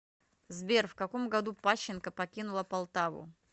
сбер в каком году пащенко покинула полтаву